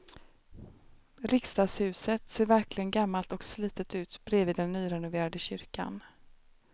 Riksdagshuset ser verkligen gammalt och slitet ut bredvid den nyrenoverade kyrkan.